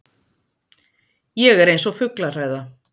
Ég er eins og fuglahræða.